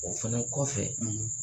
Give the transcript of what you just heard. O fana kɔfɛ